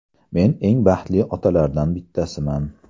Men eng baxtli otalardan bittasiman.